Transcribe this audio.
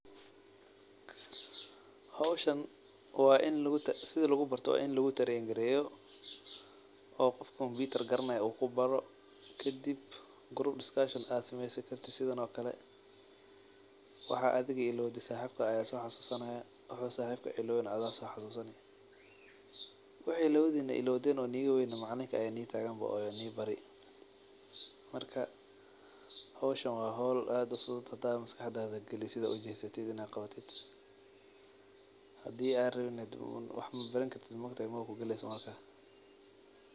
Hoshan waa in lagu sitha lagu barto waa in lagu tarengaliyo oo qof computer garanayo u kubaro kadib group discussion aa samesid sithan oo kale waxaa aad adhiga ilowde saxibka aya soxasusanaya wuxu saxibka ilawana adhiga aya so xasusani waxii lawadhina ilowden oo niga weyna macalinka aya nibari oo nitagan marka hoshan waa hol aad u muhiim san mar hada maskaxdadha galiso sitha ujedo hadaa ujesatid in aa qawatid hadii aa rawina hadi wax mabaran kartid maogtahay mawa kugaleyso marka.